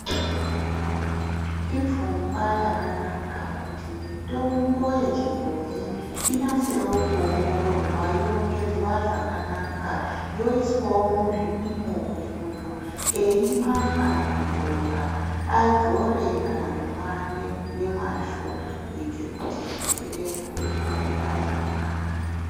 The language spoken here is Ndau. Ipfungwa yakanaka kuti mitombo yechibhoyi inasewo kuongororwa yorengedzwa zvakanaka yoiswawo muzvipimo kuti muntu eimwa kana kudzora adzore kana kumwa ngemwazvo kuitire kuti zvirwere zvione kurapika zvakanaka.